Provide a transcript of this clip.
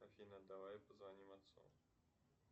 афина давай позвоним отцу